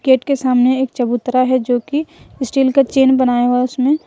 Gate के सामने एक चबूतरा है जो की स्टील का चैन बनाया हुआ है उसमे।